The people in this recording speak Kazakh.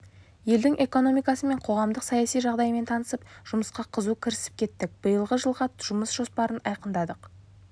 елдің экономикасы мен қоғамдық саяси жағдаймен танысып жұмысқа қызу кірісіп кеттік биылғы жылға жұмыс жоспарын айқындадық